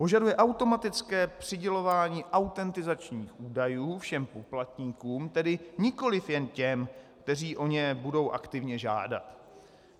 Požaduje automatické přidělování autentizačních údajů všem poplatníkům, tedy nikoli jen těm, kteří o ně budou aktivně žádat.